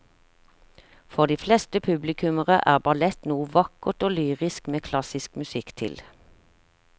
For de fleste publikummere er ballett noe vakkert og lyrisk med klassisk musikk til.